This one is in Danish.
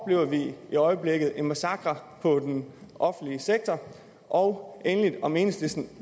vi i øjeblikket oplever en massakre på den offentlige sektor og endelig om enhedslisten